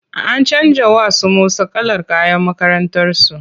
An canja wa su Musa kalar kayan makakrantarsu.